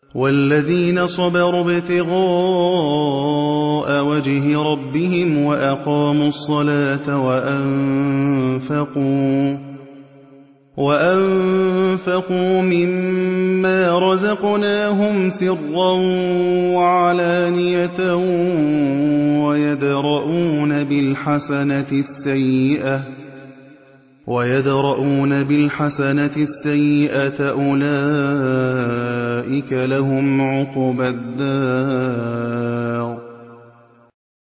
وَالَّذِينَ صَبَرُوا ابْتِغَاءَ وَجْهِ رَبِّهِمْ وَأَقَامُوا الصَّلَاةَ وَأَنفَقُوا مِمَّا رَزَقْنَاهُمْ سِرًّا وَعَلَانِيَةً وَيَدْرَءُونَ بِالْحَسَنَةِ السَّيِّئَةَ أُولَٰئِكَ لَهُمْ عُقْبَى الدَّارِ